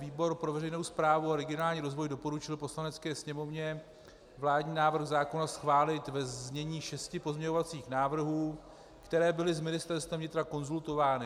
Výbor pro veřejnou správu a regionální rozvoj doporučil Poslanecké sněmovně vládní návrh zákona schválit ve znění šesti pozměňovacích návrhů, které byly s Ministerstvem vnitra konzultovány.